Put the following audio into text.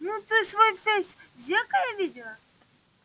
ну ты свой фейс в зеркале видела